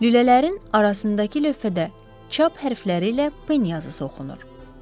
Lülələrin arasındakı lövhədə çap hərfləri ilə Pen yazısı oxunur.